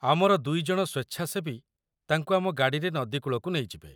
ଆମର ଦୁଇଜଣ ସ୍ୱେଚ୍ଛାସେବୀ ତାଙ୍କୁ ଆମ ଗାଡ଼ିରେ ନଦୀ କୂଳକୁ ନେଇଯିବେ।